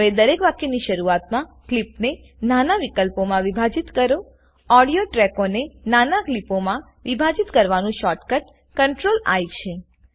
હવે દરેક વાક્યની શરૂઆતમાં ક્લીપને નાના વિકલ્પો માં વિભાજીત કરોઓડીઓ ટ્રેકોને નાના ક્લીપોમાં વિભાજીત કરવાનું શોર્ટકટ CTRLI છે